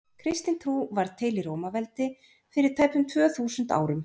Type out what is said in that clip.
kristin trú varð til í rómaveldi fyrir tæpum tvö þúsund árum